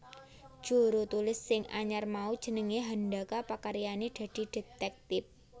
Jurutulis sing anyar mau jenengé Handaka pakaryané dadi detektip